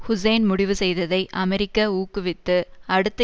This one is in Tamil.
ஹூசேன் முடிவு செய்ததை அமெரிக்க ஊக்குவித்து அடுத்த